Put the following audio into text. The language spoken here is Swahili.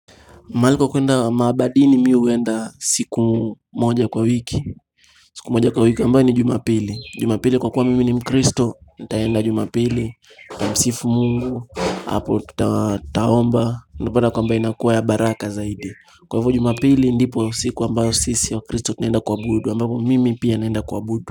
Mahali pa kuenda maabadini mi huenda siku moja kwa wiki siku moja kwa wiki ambayo ni jumapili Jumapili kwa kuwa mimi ni mkristo nitaenda jumapili Kumsifu mungu Apo taomba unapata kwamba inakuwa ya baraka zaidi Kwa hivyo jumapili ndipo siku ambayo sisi ya wakristo Tunaenda kuabudu ambayo mimi pia naenda kuabudu.